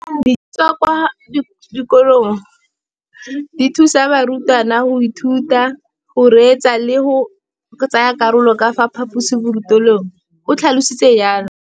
Dijo tsa kwa sekolong dithusa barutwana go ithuta, go reetsa le go tsaya karolo ka fa phaposiborutelong, o tlhalositse jalo.